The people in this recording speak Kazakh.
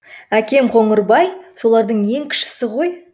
әкем қоңырбай солардың ең кішісі ғой